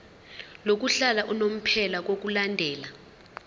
lokuhlala unomphela ngokulandela